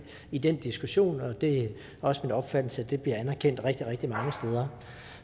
i den diskussion det er også min opfattelse at det bliver anerkendt rigtig rigtig mange steder